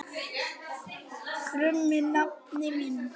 krummi nafni minn.